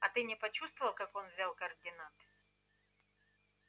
а ты не почувствовал как он взял координаты